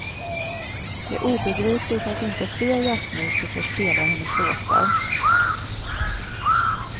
Det är obegripligt att inte fler jazzmusiker spelar hennes låtar.